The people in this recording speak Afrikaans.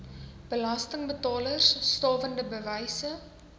belastingbetalers stawende bewyse